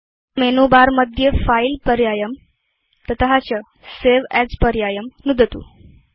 अथ मेनुबारमध्ये फिले पर्यायं तत च सवे अस् पर्यायं नुदतु